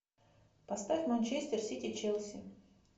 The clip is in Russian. поставь манчестер сити челси